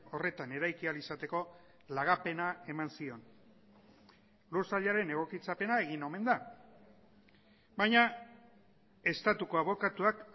horretan eraiki ahal izateko lagapena eman zion lur sailaren egokitzapena egin omen da baina estatuko abokatuak